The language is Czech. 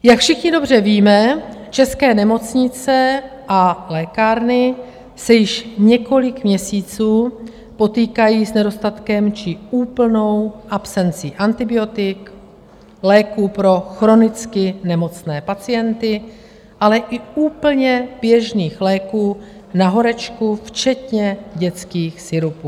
Jak všichni dobře víme, české nemocnice a lékárny se již několik měsíců potýkají s nedostatkem či úplnou absencí antibiotik, léků pro chronicky nemocné pacienty, ale i úplně běžných léků na horečku včetně dětských sirupů.